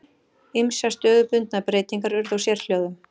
Ýmsar stöðubundnar breytingar urðu á sérhljóðum.